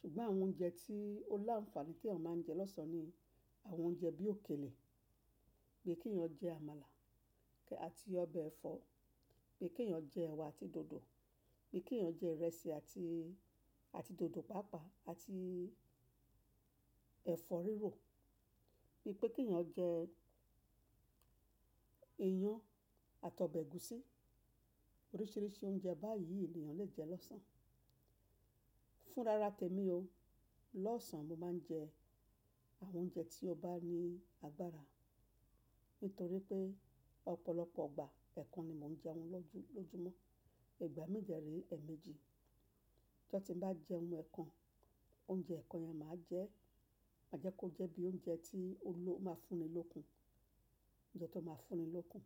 Ṣùgbọ́n àwọn oúnjẹ tí ó láǹfààní tí èèyàn máa ń jẹ lọ́sàn ni àwọn oúnjẹ bí òkèlè, bí kí èèyàn jẹ àmàlà àti ọbẹ̀ ẹ̀fọ́, bí kí èèyàn jẹ ẹwà àti dòdò, bí kí èèyàn jẹ ìrẹsì àti, àti dòdò pàápàá àti ẹ̀fọ́ rírò, bí pé kí èèyàn jẹ iyán àti ọbẹ̀ ẹ̀gúsí. Oríṣiríṣi oúnjẹ báyìí èèyàn lè jẹ lọ́sàn. Fún rara tèmi o, lọ́sàn mo máa ń jẹ àwọn oúnjẹ tí ó bá ní agbára nítorí pé ọ̀pọ̀lọpọ̀ igbà ẹkan ni mò ń jẹun lọ́jú, lọ́júmọ́. Ìgbà mi de rè ẹ́ẹ̀mejì. Ijo ti ń bá jẹ́un ẹkan, oúnjẹ ẹkan yẹn máa jẹ́, má jẹ́ kó jẹ́ bí oúnjẹ tí ó máa fún mi lókun. Oúnjẹ tó máa fún mi lókun.